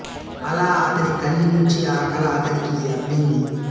అలా అతని తల్లి నుంచి ఆ కళ అతనికి అబ్బింది